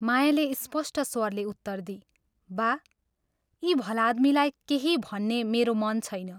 मायाले स्पष्ट स्वरले उत्तर दिई " बा, यी भलादमीलाई केही भन्ने मेरो मन छैन।